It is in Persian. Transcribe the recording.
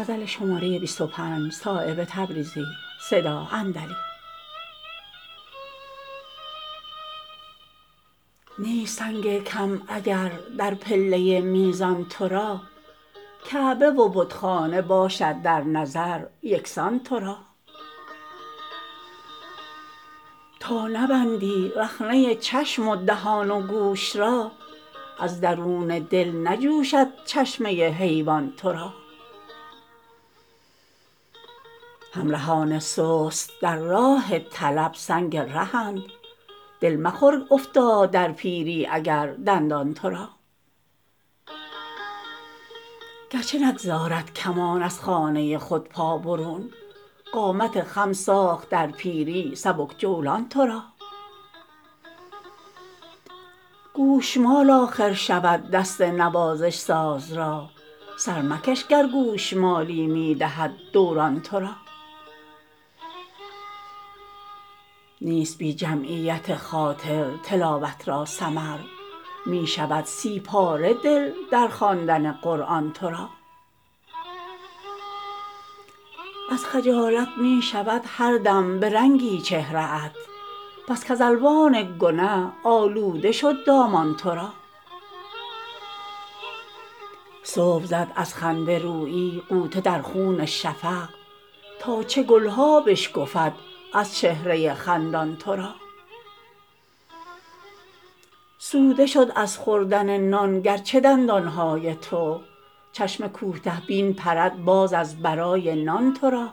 نیست سنگ کم اگر در پله میزان تو را کعبه و بتخانه باشد در نظر یکسان تو را تا نبندی رخنه چشم و دهان و گوش را از درون دل نجوشد چشمه حیوان تو را همرهان سست در راه طلب سنگ رهند دل مخور افتاد در پیری اگر دندان تو را گرچه نگذارد کمان از خانه خود پا برون قامت خم ساخت در پیری سبک جولان تو را گوشمال آخر شود دست نوازش ساز را سر مکش گر گوشمالی می دهد دوران تو را نیست بی جمعیت خاطر تلاوت را ثمر می شود سی پاره دل در خواندن قرآن تو را از خجالت می شود هر دم به رنگی چهره ات بس کز الوان گنه آلوده شد دامان تو را صبح زد از خنده رویی غوطه در خون شفق تا چه گلها بشکفد از چهره خندان تو را سوده شد از خوردن نان گرچه دندان های تو چشم کوته بین پرد باز از برای نان تو را